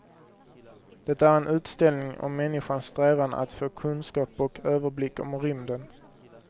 Det är en utställning om människans strävan att få kunskap och överblick om rymden.